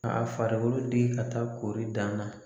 A farikolo digi ka taa koori dan na